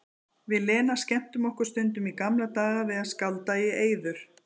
Við Lena skemmtum okkur stundum í gamla daga við að skálda í eyður.